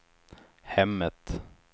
hemmet